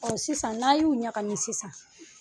sisan n'a y'u ɲagami sisan.